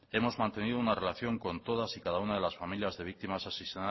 hemos mantenido una relación con todas y cada una de las familias de víctimas asesinadas